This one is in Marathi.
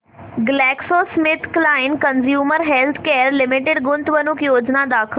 ग्लॅक्सोस्मिथक्लाइन कंझ्युमर हेल्थकेयर लिमिटेड गुंतवणूक योजना दाखव